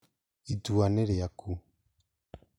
Itua nĩ rĩaku